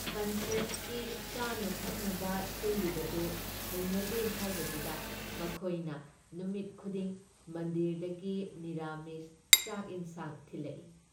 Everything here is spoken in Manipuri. ꯀꯟꯐꯔꯦꯟꯁꯀꯤ ꯆꯥꯟꯅ ꯊꯛꯅꯕ ꯁꯤꯜꯂꯤꯕꯗꯨ ꯍꯩꯅꯗꯦ ꯍꯥꯏꯕꯗꯨꯗ ꯃꯊꯣꯏꯅ ꯅꯨꯃꯤꯠ ꯈꯨꯗꯤꯡ ꯃꯟꯗꯤꯔꯗꯒꯤ ꯅꯤꯔꯥꯃꯤꯁ ꯆꯥꯛ ꯏꯟꯁꯥꯡ ꯊꯤꯜꯂꯛꯏ ꯫